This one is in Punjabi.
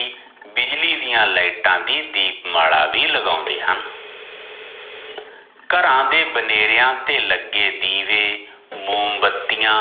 ਬਿਜਲੀ ਦੀਆ ਲਈਟਾ ਦੀ ਦੀਪ ਮਾਲਾ ਵੀ ਲਗਾਉਂਦੇ ਹਨ ਘਰਾਂ ਦੇ ਬਨੇਰਿਆ ਤੇ ਲੱਗੇ ਦੀਵੇ, ਮੋਮ੍ਬਤੀਆਂ